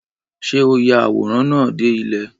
Ṣé o ya àwòrán náà dé ilẹ̀?